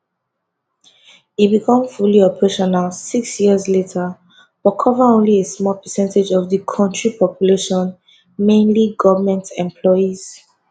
e become fully operational six years later but cover only a small percentage of di kontri population mainly goment employees